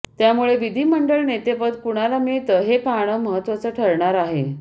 त्यामुळे विधीमंडळ नेतेपद कुणाला मिळतं हे पाहणं महत्वाचं ठरणार आहे